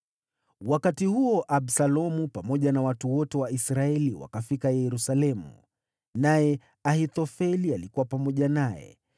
Wakati huo, Absalomu pamoja na watu wote wa Israeli wakafika Yerusalemu, naye Ahithofeli alikuwa pamoja naye.